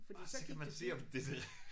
Orh så kan man se om det det